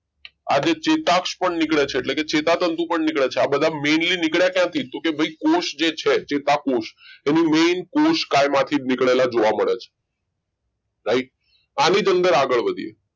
આજે ચેતાક્ષ પણ નીકળે છે એટલે કે ચેતાતંતુ પણ નીકળે છે આ બધા મેઈનલી નીકળે ક્યાંથી તો કે ભાઈ કોષ જે છે ચેતાકોષ એની main કોષકાયમાંથી જ નીકળે જોવા મળે છે right આને જ અંદર આગળ વધીએ